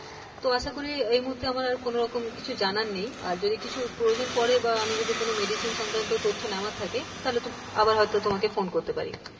তো আশা করি আমার এই মুহূর্তে আর কোনরকম কিছু আর জানার নেই আর যদি কিছু প্রয়োজন পরে বা আমি যদি কোনো medicine সংক্রান্ত তথ্য নেওয়ার থাকে তাহলে তো আবার হয়তো তোমাকে ফোন করতে পারি,